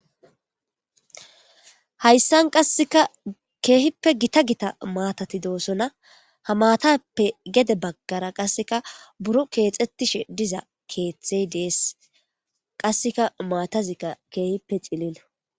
Haysan qaseka kehipe gita gita matati dosona ha matappe gede bagara buro kexetishe diza kethey des qaseka matazika kehipe cililo